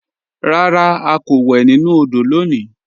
Rárá, à kò wè nínu òdò lónì